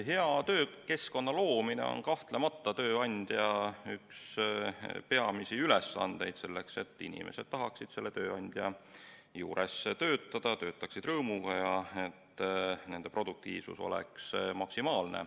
Hea töökeskkonna loomine on kahtlemata üks tööandja peamisi ülesandeid selleks, et inimesed tahaksid selle tööandja juures töötada, töötaksid rõõmuga ja nende produktiivsus oleks maksimaalne.